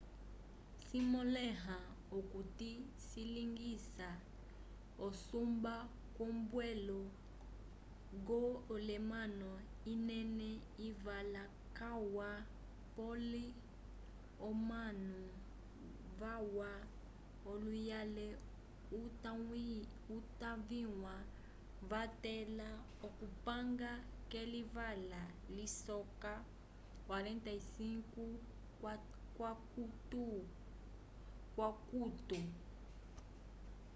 cimõleha okuti cilingisa usumba k'ombwelo kwenda elamano inene ivala calwa pole omanu valwa luhayele utaviwa vatẽla okupanga kelivala lisoka 45 k'akukutu